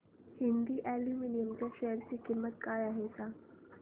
Hind aluminium च्या share ची किंमत काय आहे हे सांगा